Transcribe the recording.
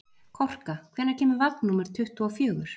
Korka, hvenær kemur vagn númer tuttugu og fjögur?